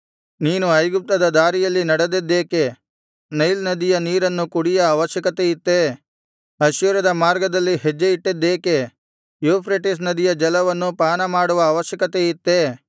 ನೀನು ಐಗುಪ್ತದ ದಾರಿಯಲ್ಲಿ ನಡೆದದ್ದೇಕೆ ನೈಲ್ ನದಿಯ ನೀರನ್ನು ಕುಡಿಯ ಅವಶ್ಯಕತೆ ಇತ್ತೆ ಅಶ್ಶೂರದ ಮಾರ್ಗದಲ್ಲಿ ಹೆಜ್ಜೆಯಿಟ್ಟದ್ದೇಕೆ ಯೂಫ್ರೆಟಿಸ್ ನದಿಯ ಜಲವನ್ನು ಪಾನಮಾಡುವ ಅವಶ್ಯಕತೆ ಇತ್ತೇ